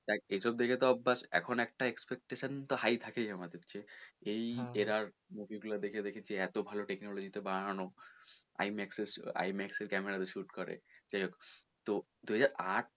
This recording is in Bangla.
দেখ এসব দেখে তো ব্যাস এখন একটা expectation তো high থাকে আমাদের যে এই জেরা movie গুলো দেখে দেখেছি এতো গুলো ভালো technology তে বানানো I Max I Max এর camera তে shoot করে যাই হোক তো দু হাজার আট,